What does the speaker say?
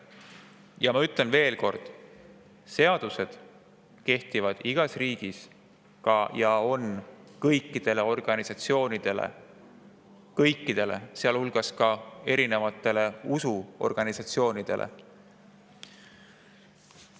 Ja ma ütlen veel kord: seadused kehtivad igas riigis ja kõikidele organisatsioonidele – kõikidele, sealhulgas ka erinevatele usuorganisatsioonidele.